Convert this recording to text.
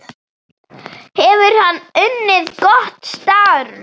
Hefur hann unnið gott starf?